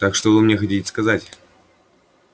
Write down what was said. так что вы мне хотите сказать